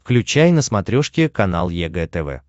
включай на смотрешке канал егэ тв